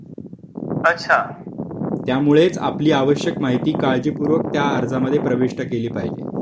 त्यामुळेच आपली आवश्यक माहिती काळजीपूर्वक त्या अर्जामध्ये प्रविष्ट केली पाहिजे जेणेकरून कोणतीही चूक होणार नाही